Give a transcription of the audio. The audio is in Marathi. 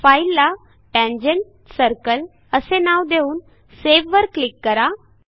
फाईलला tangent सर्कल असे नाव देऊन सावे वर क्लिक करा